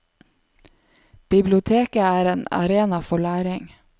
Biblioteket er en arena for læring.